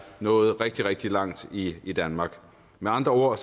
nået rigtig rigtig langt i i danmark med andre ord